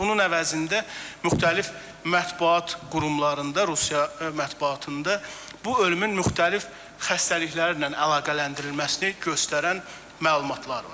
Bunun əvəzində müxtəlif mətbuat qurumlarında, Rusiya mətbuatında bu ölümün müxtəlif xəstəliklərlə əlaqələndirilməsini göstərən məlumatlar var.